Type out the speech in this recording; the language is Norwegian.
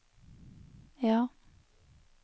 ja